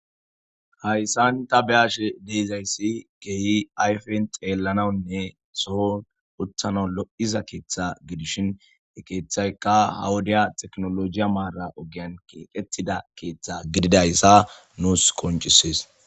Hayssan ta beashe deizayssi geehi ayfen xeellanawnne sohon utthana lo'iza keeththa gidishin ekeeththaykka hawudiya teknolojiya maara ogian keqetida keeththa gididayssa nuus koncisees.